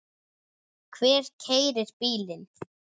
Hver keyrir bílinn?